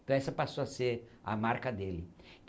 Então essa passou a ser a marca dele.